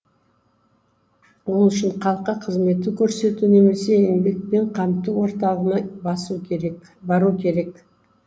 ол үшін халыққа қызмет көрсету немесе еңбекпен қамту орталығына бару керек